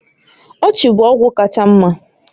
Ọchị bụ ọgwụ kacha mma